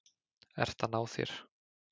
Ert að ná þér.